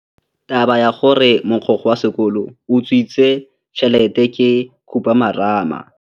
Taba ya gore mogokgo wa sekolo o utswitse tšhelete ke khupamarama.